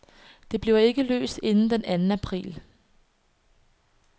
Det bliver ikke løst inden den anden april.